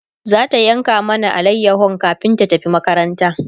zata yanka mana alayahon kamin ta tafi makaranta